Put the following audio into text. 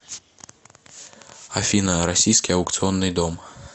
афина российский аукционный дом